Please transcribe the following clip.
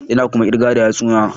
Ina kuma kirga da yatsuna